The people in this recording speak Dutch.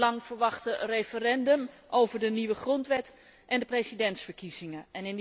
Het lang verwachte referendum over de nieuwe grondwet en de presidentsverkiezingen.